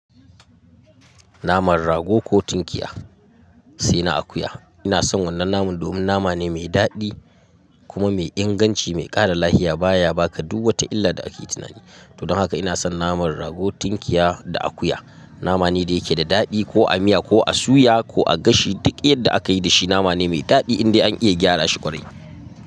Naman rago ko tinkiya sai na akuya. Ina son wannan naman domin nama ne mai daɗi kuma mai inganci, mai ƙara lafiya. Ba ya baka duk wata illa da ake tunani. Don haka ina son naman rago, tinkiya da akuya. Nama ne da yake da daɗi ko a miya ko a suya ko a gashi. Duk yadda aka yi da shi, nama ne mai daɗi inda an iya gyara shi ƙwarai.